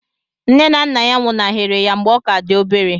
Nne na nna nwụnaghere ya mgbe ọ ka dị obere.